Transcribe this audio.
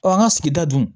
an ka sigida dun